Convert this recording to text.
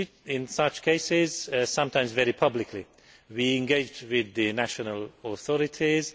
In such cases, sometimes very publicly, we engage with the national authorities.